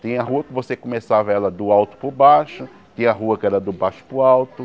Tem a rua que você começava ela do alto para o baixo, tem a rua que era do baixo para o alto.